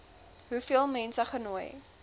hoeveel mense genooi